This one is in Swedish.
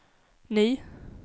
ny